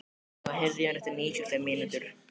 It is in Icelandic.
Leo, heyrðu í mér eftir níutíu og fimm mínútur.